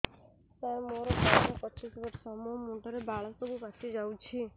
ସାର ମୋର ବୟସ ପଚିଶି ବର୍ଷ ମୋ ମୁଣ୍ଡରେ ବାଳ ସବୁ ପାଚି ଯାଉଛି